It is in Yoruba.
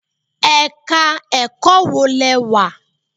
Ẹ̀ka ẹ̀kọ́ wo lẹ wà?